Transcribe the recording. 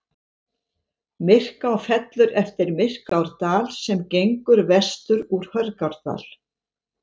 Myrká fellur eftir Myrkárdal sem gengur vestur úr Hörgárdal.